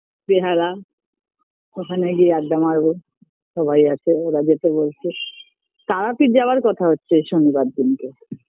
বেহালা ওখানে গিয়ে আড্ডা মারবো সবাই আছে ওরা যেতে বলছে তারাপীঠ যাওয়ার কথা হচ্ছে এই শনিবার দিনকে